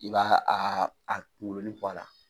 I ba a a kungolonnin bɔ a la.